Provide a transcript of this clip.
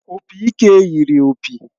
Opị ike yiri opi